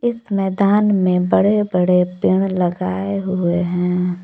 मैदान में बड़े बड़े पेड़ लगाए हुए हैं।